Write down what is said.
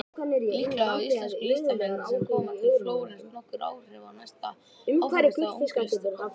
Líklega hafa íslensku listamennirnir sem koma til Flórens nokkur áhrif á næsta áfangastað ungu listakonunnar.